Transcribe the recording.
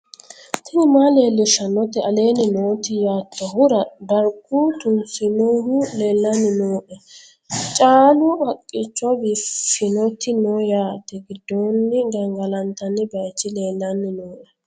tini maa leellishshannote aleenni nooti yoottoehura dargu tunsinohu leellannni nooe caalu haqqicho biiffinnoti noo yaate giddoonni gangalantanni baychi leellanni nooe